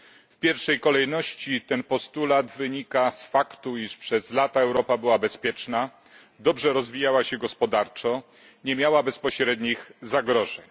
W pierwszej kolejności ten postulat wynika z faktu, iż przez lata Europa była bezpieczna dobrze rozwijała się gospodarczo, nie miała bezpośrednich zagrożeń.